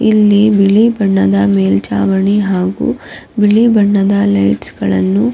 ಇಲ್ಲಿ ಬಿಳಿ ಬಣ್ಣದ ಮೇಲ್ಚಾವಣಿ ಹಾಗೂ ಬಿಳಿ ಬಣ್ಣದ ಲೈಟ್ಸ್ ಗಳನ್ನು --